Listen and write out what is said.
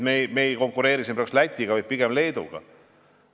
Me ei konkureeri siin Lätiga, vaid pigem Leeduga.